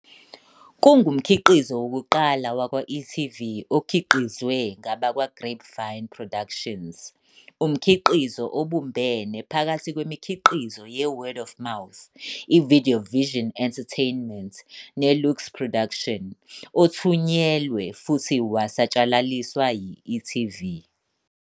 Kungumkhiqizo wokuqala wakwa-e.tv okhiqizwe ngabakwaGrapevine Productions, umkhiqizo obumbene phakathi kwemikhiqizo yeWord of Mouth, iVideovision Entertainment neLuyks Productions, othunyelwe futhi wasatshalaliswa yi-e.tv.